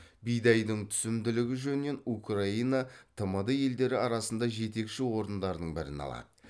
бидайдың түсімділігі жөнінен украина тмд елдері арасында жетекші орындардың бірін алады